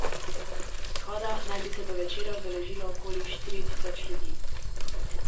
Shoda naj bi se do večera udeležilo okoli štiri tisoč ljudi.